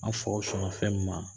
An faw sɔnna fɛn mi ma